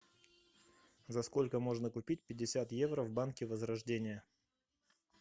за сколько можно купить пятьдесят евро в банке возрождение